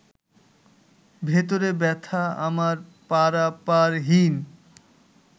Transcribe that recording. ভেতরে ব্যথা আমার পারাপারহীন